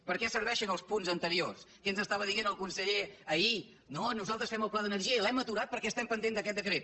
per a què serveixen els punts anteriors què ens estava dient el conseller ahir no nosaltres fem el pla d’energia i l’hem aturat perquè estem pendents d’aquest decret